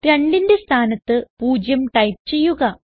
2ന്റെ സ്ഥാനത്ത് 0 ടൈപ്പ് ചെയ്യുക